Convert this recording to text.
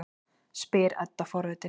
spyr Edda forvitin.